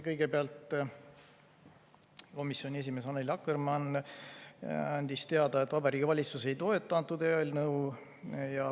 Kõigepealt andis komisjoni esimees Annely Akkermann teada, et Vabariigi Valitsus ei toeta antud eelnõu.